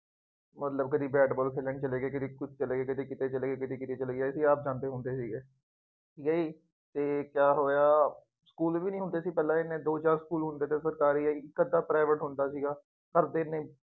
ਮਤਬਲ ਕਦੀ bat ball ਖੇਲਣ ਚਲੇਗੇ ਕਦੀ ਕੁੱਛ ਚਲੇ ਗਏ, ਕਦੀ ਕਿਤੇ ਚਲੇ ਗਏ, ਕਦੀ ਕਿਤੇ ਚਲੇ ਗਏ, ਅਸੀ ਆਪ ਜਾਂਦੇ ਹੁੰਦੇ ਸੀਗੇ, ਨਹੀਂ ਤੇ ਕਿਆ ਹੋਇਆ ਸਕੂਲ ਵੀ ਨਹੀਂ ਹੁੰਦੇ ਸੀ, ਪਹਿਲਾਂ ਐਨੇ, ਦੋ ਚਾਰ ਸਕੂਲ ਹੁੰਦੇ ਸੀ ਉਹ ਸਰਕਾਰੀ ਹੀ, ਇੱਕ ਅੱਧਾ private ਸਕੂ਼ਲ ਸੀਗਾ। ਘਰਦਿਆਂ ਨੇ